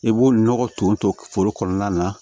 I b'o nɔgɔ ton ton foro kɔnɔna na